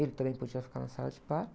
Ele também podia ficar na sala de parto.